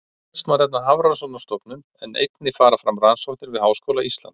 Helst má nefna Hafrannsóknastofnun en einnig fara fram rannsóknir við Háskóla Íslands.